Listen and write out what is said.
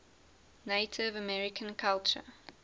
native american culture